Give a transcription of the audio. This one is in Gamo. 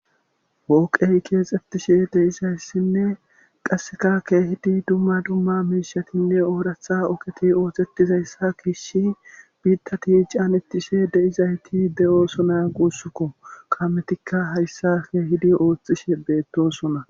Pooqay keexxettishe de'iza issinne qasseka keehidi dumma dumma miishatinne ooratha oogeti oosetiza issa giishin biittati caanettishe de'izayti de'oosona guussakko. Kametikka hayssa keehidi ooththishe beettosona.